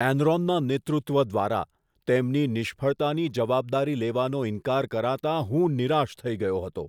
એનરોનના નેતૃત્વ દ્વારા તેમની નિષ્ફળતાની જવાબદારી લેવાનો ઈન્કાર કરાતાં હું નિરાશ થઈ ગયો હતો.